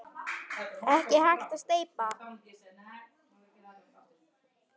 Ekki hægt að steypa.